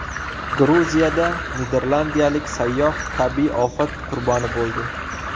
Gruziyada niderlandiyalik sayyoh tabiiy ofat qurboni bo‘ldi.